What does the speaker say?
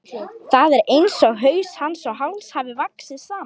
Það er einsog haus hans og háls hafi vaxið saman.